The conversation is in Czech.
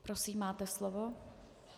Prosím, máte slovo.